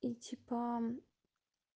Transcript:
и типа